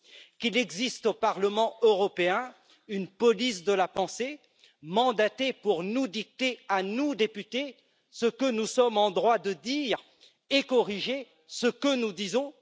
Qu'il existe au Parlement européen une police de la pensée, mandatée pour nous dicter à nous, députés ce que nous sommes en droit de dire et corriger ce que nous disons?